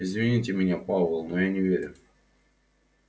извините меня пауэлл но я не верю